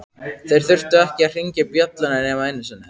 Þeir þurftu ekki að hringja bjöllunni nema einu sinni.